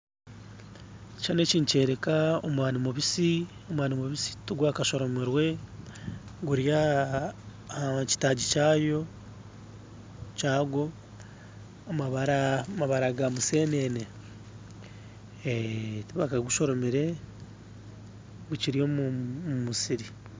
Ekishushani eki nikyoreka omwani mubisi omwani mubisi tugwakashoromirwe guri ahakitaagi kayo kyagwo amabara ga musenene tibakagushoromire gukiri omumusiri.